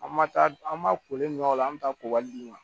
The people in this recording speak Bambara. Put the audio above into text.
An ma taa an ma kolen mina o la an be taa ko wali d'u ma